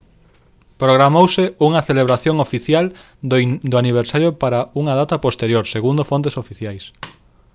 programouse unha celebración oficial do aniversario para unha data posterior segundo fontes oficiais